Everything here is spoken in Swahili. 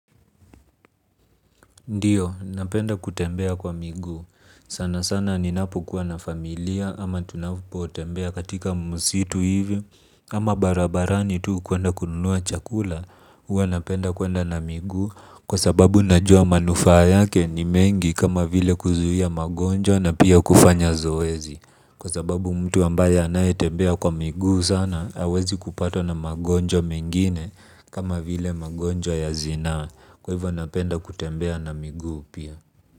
Ndiyo, napenda kutembea kwa miguu. Sana sana ninapo kuwa na familia ama tunapotembea katika msitu hivi. Kama barabarani tu kwenda kununua chakula, huwa napenda kwenda na miguu kwa sababu najua manufaa yake ni mengi kama vile kuzuia magonjwa na pia kufanya zoezi. Kwa sababu mtu ambaye anayetembea kwa miguu sana hawezi kupatwa na magonjwa mengine kama vile magonjwa ya zinaa. Kwa hivyo napenda kutembea na miguu pia.